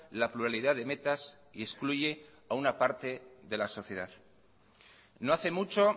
la pluralidad de metas y excluye a una parte de la sociedad no hace mucho